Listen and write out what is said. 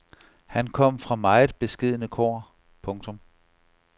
Han kom fra meget beskedne kår. punktum